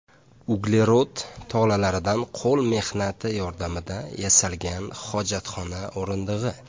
Uglerod tolalaridan qo‘l mehnati yordamida yasalgan hojatxona o‘rindig‘i.